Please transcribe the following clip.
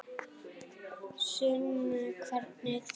Sunna: Hvernig þá?